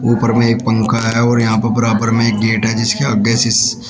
ऊपर में एक पंखा है और यहां पर बराबर में एक गेट है जिसके आगे से --